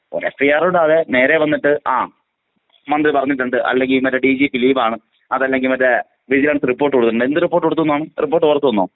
ഒരു എഫ്ഐആർ ഇടാതെ നേരേ വന്നിട്ട് ആ, മന്ത്രി പറഞ്ഞിട്ടുണ്ട് അല്ലെങ്കിൽ ഏ, മറ്റേ ഡിജിപി ലീവാണ് അതല്ലെങ്കിൽ മറ്റെ വിജിലന്‍സ് റിപ്പോർട്ട് കൊടുത്തിട്ടുണ്ട് എന്ത് റിപ്പോർട്ട് കൊടുത്തിട്ടുണ്ട് ന്നാണ്? റിപ്പോർട്ട് പുറത്ത് വന്നോ?